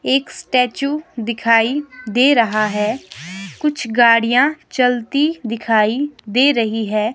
एक स्टैचू दिखाई दे रहा है कुछ गाड़ियां चलती दिखाई दे रही है।